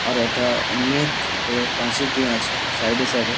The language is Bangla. আর ওটা অনেক বড়ো পাঁচিল দেওয়া আছে সাইড -এ সাইড -এ।